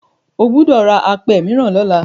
O gbọdọ̀ ra apẹ mìíràn lọ́la.